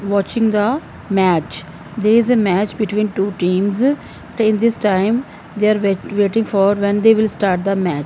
watching the match there is a match between two teams take this time they are waiting for when they will start the match.